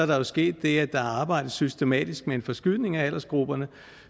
der sket det at der arbejdes systematisk med en forskydning af aldersgrupperne